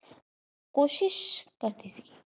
ਕੋਸ਼ਿਸ਼ ਕਰਦੀ ਸੀ।